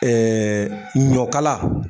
ɲɔkala